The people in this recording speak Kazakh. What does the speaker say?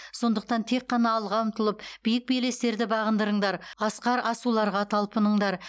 сондықтан тек қана алға ұмтылып биік белестерді бағындырыңдар асқар асуларға талпыныңдар